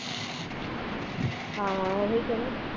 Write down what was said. ਆਹੋ ਆਹੋ ਉਹੀਂ ਕਹਿੰਦੀ